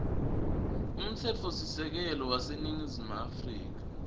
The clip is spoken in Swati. umtsetfosisekelo waseningizimu afrika